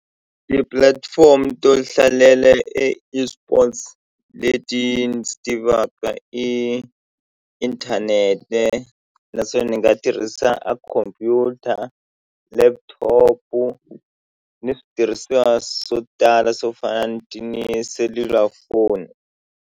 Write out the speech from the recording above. Tipulatifomo to hlalela e eSports leti ndzi tivaka i inthanete naswona ni nga tirhisa a khompyuta laptop-u ni switirhisiwa swo tala swo fana ni ti ni selulafoni.